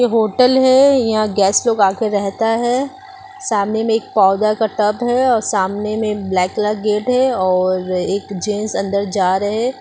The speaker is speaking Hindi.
होटल हैयहाँ गैस लोग आकर रहता है सामने में एक पौधा का तब है और सामने में ब्लैक कलर गेट है और एक जींस अंदर जा रहे।